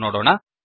ಎಂದು ನೋಡೋಣ